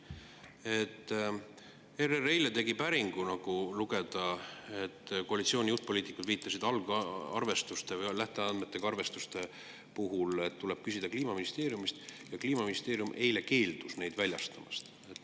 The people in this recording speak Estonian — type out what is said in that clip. ERR tegi eile päringu, nagu sai lugeda, ning koalitsiooni juhtpoliitikud viitasid algarvestuste või lähteandmetega arvestuste puhul, et tuleb küsida Kliimaministeeriumist, aga Kliimaministeerium eile keeldus neid väljastamast.